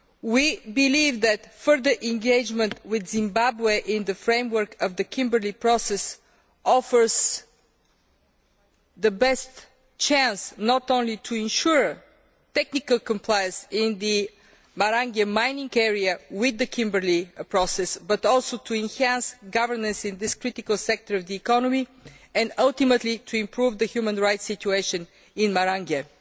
We believe that further engagement with Zimbabwe in the framework of the Kimberley Process offers the best chance, not only to ensure technical compliance in the Marangwe mining area with the Kimberley Process, but also to enhance governance in this critical sector of the economy and ultimately to improve the human rights situation in Marangwe.